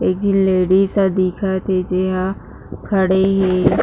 एक जी लेडीज दिखत ऐ जी हा खड़े हे।